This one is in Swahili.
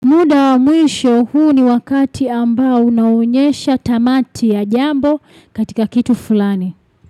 Muda wa mwisho. Huu ni wakati ambao unaonyesha tamati ya jambo katika kitu fulani.